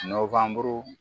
Nowanburu